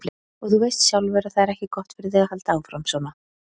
Og þú veist sjálfur að það er ekki gott fyrir þig að halda áfram, svona.